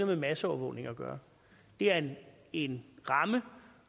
med masseovervågning at gøre det er en ramme